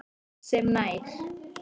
sem nær